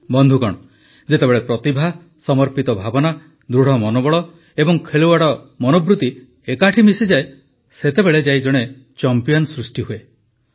ବନ୍ଧୁଗଣ ଯେତେବେଳେ ପ୍ରତିଭା ସମର୍ପିତ ଭାବନା ଦୃଢ଼ ମନୋବଳ ଏବଂ ଖେଳୁଆଡ଼ ମନୋବୃତ୍ତି ଏକାଠି ମିଶିଯାଏ ସେତେବେଳେ ଯାଇ ଜଣେ ଚମ୍ପିଆନ ସୃଷ୍ଟି ହୁଏ